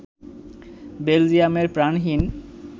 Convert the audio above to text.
বেলজিয়ামের প্রাণহীন